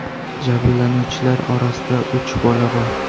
Jabrlanuvchilar orasida uch bola bor.